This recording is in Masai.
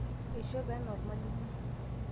eishope enaa olmalimui